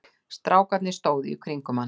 Strákarnir stóðu í kringum hann.